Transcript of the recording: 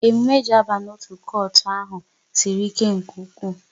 Emume e ji aba n'otu kotu ahụ sịrị ike nke ụkwụ